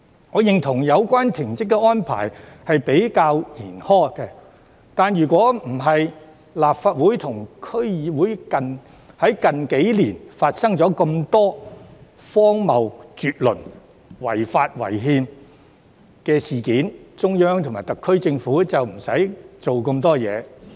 我認同有關停職安排較為嚴苛，但若不是立法會及區議會在近年發生這麼多荒謬絕倫及違法違憲的事件，中央及特區政府也無須採取這些行動。